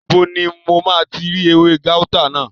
Níbo ni mo máa ti rí ewé gáútà náà?